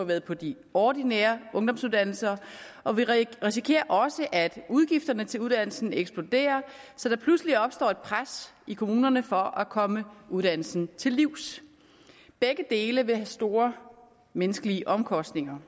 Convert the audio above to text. været på de ordinære ungdomsuddannelser og vi risikerer også at udgifterne til uddannelsen eksploderer så der pludselig opstår et pres i kommunerne for at komme uddannelsen til livs begge dele vil have store menneskelige omkostninger